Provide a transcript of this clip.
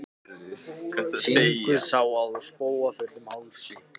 Syngur Sá ég spóa fullum hálsi.